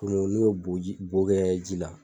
n'o boji bo kɛ ji la.